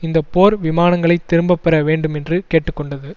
இந்த போர் விமானங்களை திரும்ப பெற வேண்டும் என்று கேட்டு கொண்டது